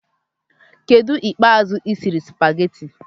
Kedu oge ikpe azu isiri spagehtte